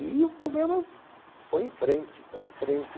E o programa foi em frente, foi em frente.